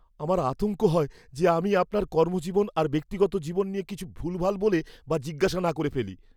আমার আতঙ্ক হয় যে আমি আপনার কর্মজীবন আর ব্যক্তিগত জীবন নিয়ে কিছু ভুলভাল বলে বা জিজ্ঞাসা না করে ফেলি।